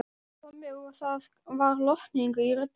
Tommi og það var lotning í röddinni.